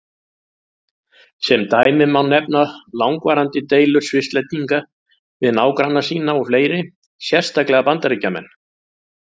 Sem dæmi má nefna langvarandi deilur Svisslendinga við nágranna sína og fleiri, sérstaklega Bandaríkjamenn.